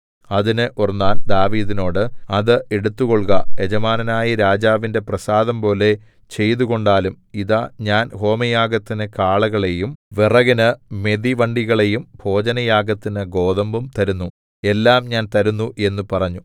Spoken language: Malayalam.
അതിന് ഒർന്നാൻ ദാവീദിനോട് അത് എടുത്തുകൊൾക യജമാനനായ രാജാവിന്റെ പ്രസാദംപോലെ ചെയ്തുകൊണ്ടാലും ഇതാ ഞാൻ ഹോമയാഗത്തിന് കാളകളെയും വിറകിന് മെതിവണ്ടികളെയും ഭോജനയാഗത്തിന് ഗോതമ്പും തരുന്നു എല്ലാം ഞാൻ തരുന്നു എന്നു പറഞ്ഞു